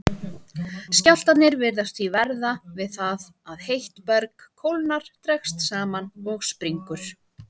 Skjálftarnir virðast því verða við það að heitt berg kólnar, dregst saman og springur.